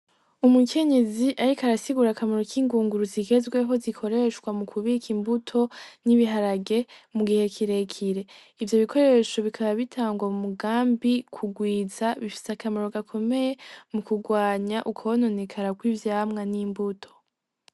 Umukenyezi ariko arasigura akamaro k'ingunguru zigezweho zikoreshwa mu kubik'imbuto n'ibiharage mu gihe kirekire , ivyo bikoresho bikaba bitangwa mu mugambi kugwiza bifis'akamaro gakomeye mu kugwanya ukwononekara kw'ivyamwa n'imbuto.